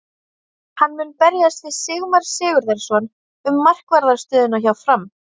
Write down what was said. Hann mun berjast við Sigmar Sigurðarson um markvarðar stöðuna hjá Fram.